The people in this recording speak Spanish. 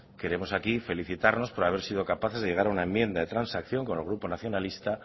queremos aquí felicitarnos por haber sido capaces de llegar a una enmienda de transacción con el grupo nacionalista